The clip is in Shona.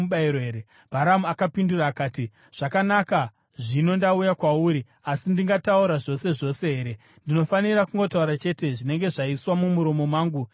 Bharamu akapindura akati, “Zvakanaka, zvino ndauya kwauri. Asi ndingataura zvose zvose here? Ndinofanira kungotaura chete zvinenge zvaiswa mumuromo mangu naMwari.”